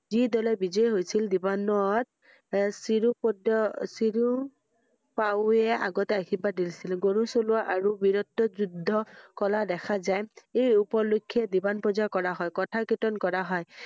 যি দলে বিজয়ী হৈছিল দিবন্ন~ত চিৰো পদ্দ চিৰু~পাৱৈয়ে আগত আশীৰ্বাদ দিছিল গুৰু চলোৱা আৰু বিৰত্ত যুদ্ধ কলা দেখা যে এই উপলক্ষ্যে দিবন্নৰ পূজা কৰা হয়। কথা কিতন কৰা হয়